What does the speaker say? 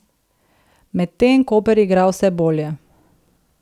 Medtem Koper igra vse bolje.